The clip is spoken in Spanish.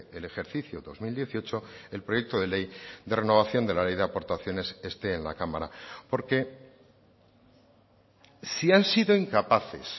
el ejercicio dos mil dieciocho el proyecto de ley de renovación de la ley de aportaciones esté en la cámara porque si han sido incapaces